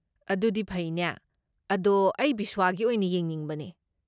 ꯑꯗꯨꯗꯤ ꯐꯩꯅꯦ, ꯑꯗꯣ ꯑꯩ ꯕꯤꯁꯋꯥꯒꯤ ꯑꯣꯏꯅ ꯌꯦꯡꯅꯤꯡꯕꯅꯦ꯫